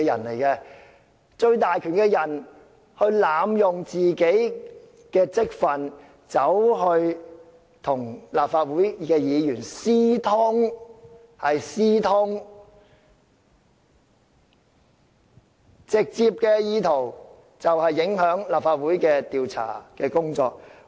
擁有最大權力的人濫用本身的職份，與立法會議員私通，是"私通"，直接的意圖是影響立法會的調查工作。